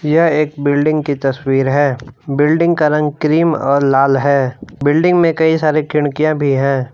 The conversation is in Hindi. यह एक बिल्डिंग की तस्वीर है। बिल्डिंग का रंग क्रीम और लाल है। बिल्डिंग में कई सारे खिनकियां भी है।